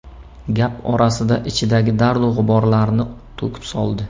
Gap orasida ichidagi dardu g‘uborlarni to‘kib soldi.